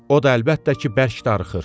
O da əlbəttə ki, bərk darıxır.